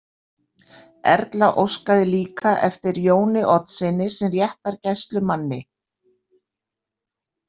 Erla óskaði líka eftir Jóni Oddssyni sem réttargæslumanni.